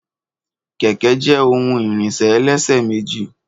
kẹ̀kẹ́ jé ohun ìrìnṣẹ̀ ẹlẹ́ṣẹ̀ méjì